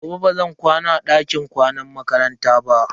Gobe bazan kwana a dakin kwanan makaranta ba.